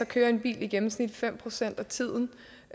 kører en bil i gennemsnit fem procent af tiden